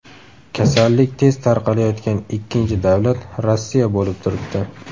Kasallik tez tarqalayotgan ikkinchi davlat Rossiya bo‘lib turibdi.